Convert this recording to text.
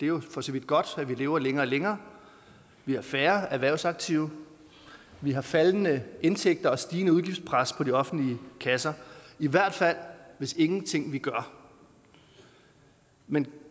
jo for så vidt godt at vi lever længere og længere vi har færre erhvervsaktive vi har faldende indtægter og stigende udgiftspres på de offentlige kasser i hvert fald hvis vi ingenting gør men